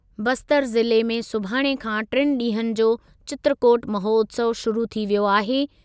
बस्तर ज़िले में सुभाणे खां टिनि ॾींहनि जो चित्रकोट महोत्सव शुरू थी वियो आहे।